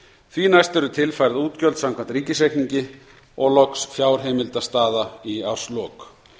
því næst eru tilfærð útgjöld samkvæmt ríkisreikningi og loks fjárheimildastaða í árslok